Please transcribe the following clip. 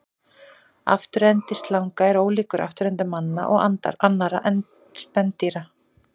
Afturendi slanga er ólíkur afturenda manna og annarra spendýra.